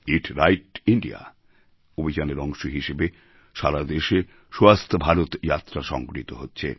ইট right India অভিযানের অংশ হিসাবে সারা দেশে স্বস্থ ভারত যাত্রা সংগঠিত হচ্ছে